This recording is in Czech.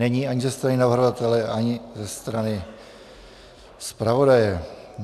Není ani ze strany navrhovatele, ani ze strany zpravodaje.